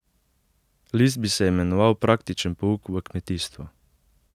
List bi se imenoval Praktičen pouk v kmetijstvu.